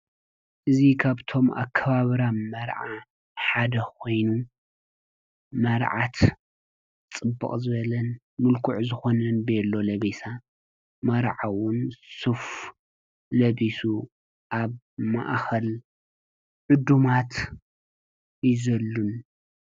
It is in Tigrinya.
እዚ ካብቶም አከባብራ መርዓ ሓደ ኮይኑ መርዓት ፅብቅ ዝበለን ምልኩዕ ዝኮነን ቤሎ ሉቢሳ መርዓዊ እውን ሱፍ ለቢሱ አብ ማእከል ዕዱማት ይዘልል።